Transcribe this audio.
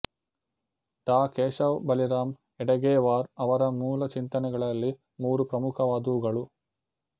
ಡಾ ಕೇಶವ್ ಬಲಿರಾಮ್ ಹೆಡಗೇವಾರ್ ಅವರ ಮೂಲ ಚಿಂತನೆಗಳಲ್ಲಿ ಮೂರು ಪ್ರಮುಖವಾದವುಗಳು